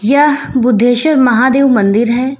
यह बुद्धेश्वर महादेव मंदिर है।